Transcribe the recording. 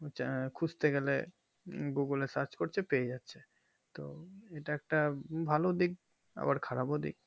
খুঁজতে গেলে google এ search করতে পেয়ে যাচ্ছে তো এটা একটা ভালো দিক আবার খারাপ ও দিক